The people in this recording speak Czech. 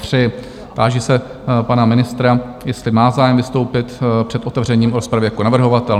Táži se pana ministra, jestli má zájem vystoupit před otevřením rozpravy jako navrhovatel?